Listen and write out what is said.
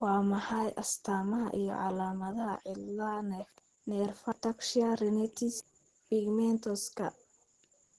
Waa maxay astamaha iyo calaamadaha cilada Nerfaha ataxia retinitis pigmentoska?